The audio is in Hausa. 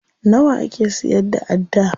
Nawa ake siyar da adda?